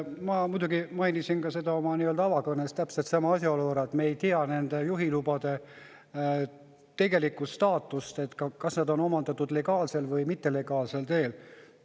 Ma mainisin oma avakõnes täpselt sama asjaolu, et me ei tea nende juhilubade tegelikku staatust, et kas nad on omandatud legaalsel või mittelegaalsel teel.